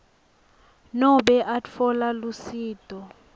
nobe atfola lusito